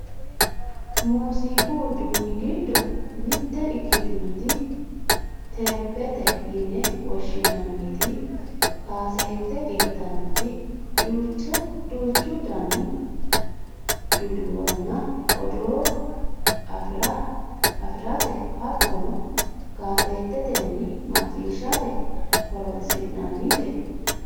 muziiqu uduunni giddo mitte ikkitinoti teephete yine woshshinanniti kaaseette ittannoti duuchu daninni duduwonna odoo afirate hattono kaseettetenni macciishshate horonsi'nannite .